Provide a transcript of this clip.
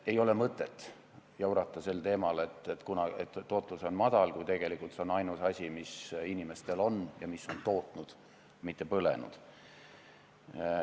Ei ole mõtet jaurata sel teemal, et tootlus on madal, kui tegelikult see on ainus vahend, mis inimestel on olnud ja mis on tootnud, mitte raha põletanud.